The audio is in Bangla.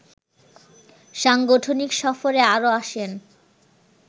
সাংগঠনিক সফরে আরও আসেন